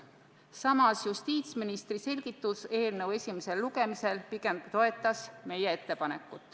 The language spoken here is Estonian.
Samas justiitsministri selgitus eelnõu esimesel lugemisel pigem toetas seda.